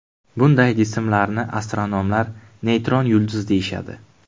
Bunday jismlarni astronomlar neytron yulduz deyishadi.